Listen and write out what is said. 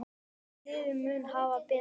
Hvort liðið mun hafa betur?